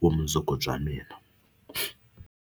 vumundzuku bya mina.